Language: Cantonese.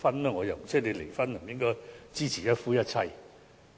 離婚的人便不應支持一夫一妻制？